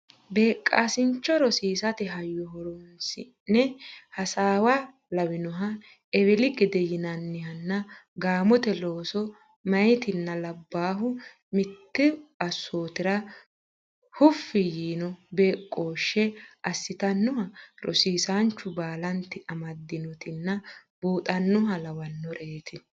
Beeqqisaancho rosiisate hayyo horonsi ne hasaawa lawinoha eweli gede yinannihanna gaamote looso meyaatinna labbaahu mittu assootira huffi yiino beeqqooshshe assitannoha rosiisaanchu baalanti amadantinota buuxannoha lawannoreeti.